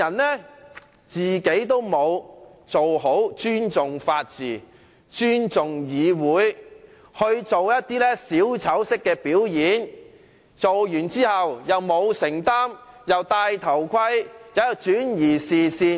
他自己沒有好好尊重法治和議會，反而做一些小丑式的表演，表演畢卻不承擔責任，"帶頭盔"，轉移視線。